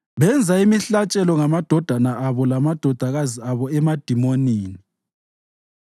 Benza imihlatshelo ngamadodana abo lamadodakazi abo emadimonini.